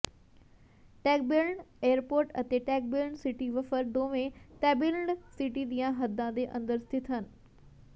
Tagbilaran airport ਅਤੇ Tagbilaran city ਵਫਰ ਦੋਵੇਂ ਤੈਬਿਲਰਨ ਸਿਟੀ ਦੀਆਂ ਹੱਦਾਂ ਦੇ ਅੰਦਰ ਸਥਿਤ ਹਨ